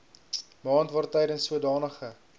maand waartydens sodanige